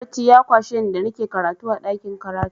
Barci ya kwashe da nike karatu a ɗakin karatu.